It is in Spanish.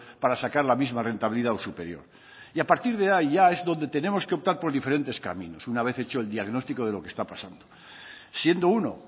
para sacar la misma rentabilidad o superior y a partir de ahí ya es donde tenemos que optar por diferentes caminos una vez hecho el diagnóstico de lo que está pasando siendo uno